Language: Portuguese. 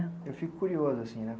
Eu fico curioso, assim, né?